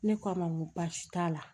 Ne k'a ma n ko baasi t'a la